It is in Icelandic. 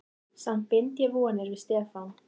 Samt bind ég vonir við Stefán.